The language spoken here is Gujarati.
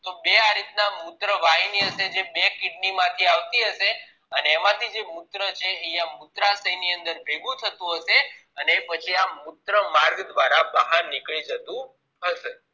તો બે આ રીત ના મુત્રવાહીની હશે જે બે kidney માંથી આવતી હશે અને એમાથીં જે મુત્ર છે એ આ મૂત્રાશય ની અંદર ભેગું થતું હશે અને પછી આ મુત્ર માર્ગ દ્વારા બહાર નીકળી જતું હશે